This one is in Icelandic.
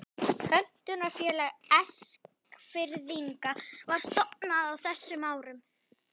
Pöntunarfélag Eskfirðinga var stofnað á þessum árum.